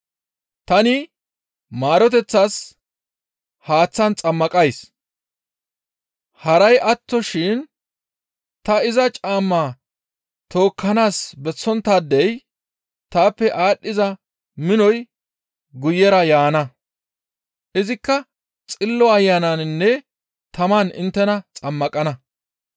Tani maaroteththas haaththan xammaqays; haray attoshin ta iza caamma tookkanaas bessonttaadey taappe aadhdhiza minoy guyera yaana; izikka Xillo Ayananinne taman inttena xammaqana.